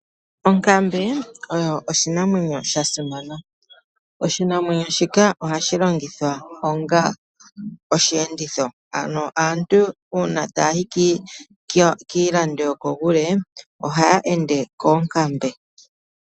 Onkambe oyo oshinamwenyo sha simana. Oshinamwenyo shika ohashi longithwa onga oshiyenditho . Ano aantu taya yi kiilando yokokule ohaya londo koonkambe .